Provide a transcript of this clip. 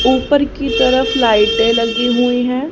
ऊपर की तरफ लाइटें लगी हुई हैं।